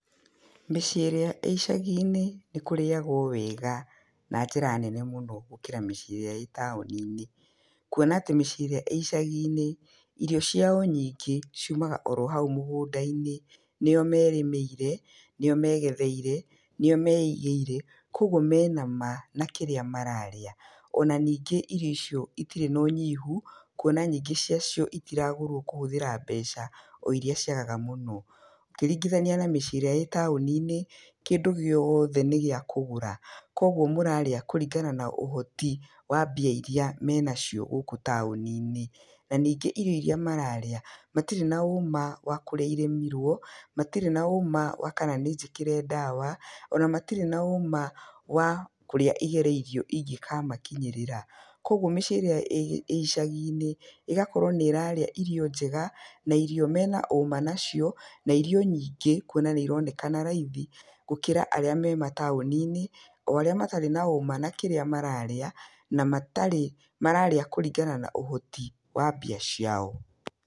Mĩciĩ ĩrĩa ĩcagi-inĩ nĩ kũrĩagwo wega, na njĩra nene mũno, gũkĩra mĩciĩ ĩrĩa ĩtaũni-inĩ. kuona atĩ mĩciĩ ĩrĩa ĩcagi-inĩ, irio ciao nyingĩ ciumaga orohau mĩgũnda-inĩ, nĩo merĩmĩire, nĩo megetheire, nĩo meigĩire, kwoguo me na ma na kĩrĩa mararĩa, ona ningĩ irio icio itirĩ na ũnyihu, kuona nyingĩ ciacio itiragũrwo kũhũthĩra mbeca o iria ciagaga mũno. Ũkĩringithania na mĩciĩ ĩrĩa ĩtaũni-inĩ, kĩndũ gĩoothe nĩ gĩa kũgũra, koguo mũrarĩa kũringana na ũhoti wa mbia iria menacio gũkũ taũni-inĩ. Na ningĩ irio iria mararĩa, matirĩ na ũma wa kũrĩa irĩmirwo, matirĩ na ũma wa kana nĩ njĩkĩre ndawa, ona matirĩ na ũma wa kũrĩa igereirwo ingĩkamakinyĩrĩra. Koguo mĩciĩ ĩrĩa ĩ igaci-inĩ, ĩgakorwo nĩrarĩa irio njega, na irio mena ũma nacio, na irio nyingĩ, kuona nĩ ironekana raithi, gũkĩra arĩa me mataũni-inĩ, o arĩa matarĩ na ũma na kĩrĩa mararĩa, na matarĩ mararĩa kũringana na ũhoti wa mbia ciao.